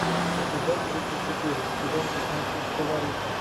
эпизод тридцать четыре сезон пятнадцать фаворита